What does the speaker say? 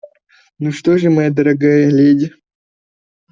ну что же моя дорогая леди